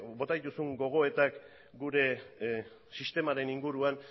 bota dituzun gogoetak gure sistemaren inguruan